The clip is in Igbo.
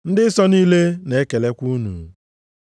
Ndị nsọ niile na-ekelekwa unu.